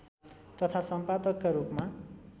तथा सम्पादकका रूपमा